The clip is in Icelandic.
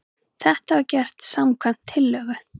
Þetta var gert samkvæmt tillögu